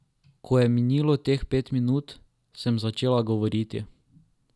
Ko je minilo teh pet minut, sem začela govoriti.